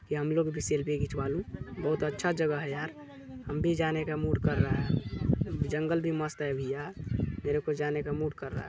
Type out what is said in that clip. की हम लोग भी सेल्फी खिचवालु बहोत अच्छा जगह है यार हम भी जाने का मूड कर रहा है जंगल भी मस्त है भईया मेरे को जाने का मूड कर रहा--